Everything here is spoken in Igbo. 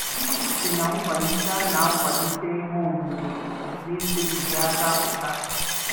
Gịnị si ná nkwalite a na - akwalite ihe onwunwe n’esepụghị aka apụta?